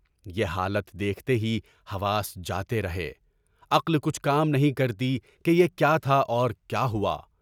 یہ حالت دیکھتے ہی حواس جاتے رہے، عقل کچھ کام نہیں کرتی کہ بُرا کیا تھا اور کیا ہوا؟